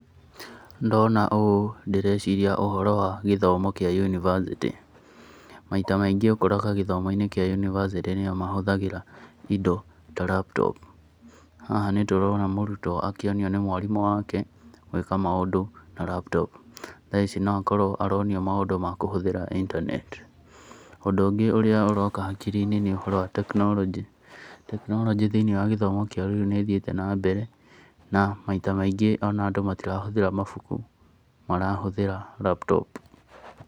Ndona ũũ ndĩreciria ũhoro wa gĩthomo kĩa university. Maita maingĩ ũkoraga gĩthomo-inĩ kĩa university nĩo mahũthagĩra indo ta laptop. Haha nĩ tũrona mũrutwo akĩnio nĩ mwarimũ wake gũika maũndũ na laptop. Thaa ici no akorwo aronio maũndũ makũhũthira internet. Ũndũ ũngĩ ũrĩa ũroka hakiri-inĩ nĩ ũhoro wa technology. Technology thĩiniĩ wa gĩthomo kĩa rĩu nĩ ĩthiĩte na mbere na maita maingĩ ona andũ matirahũthĩra mabuku marahũthĩra laptop.